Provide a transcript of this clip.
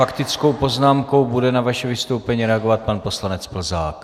Faktickou poznámkou bude na vaše vystoupení reagovat pan poslanec Plzák.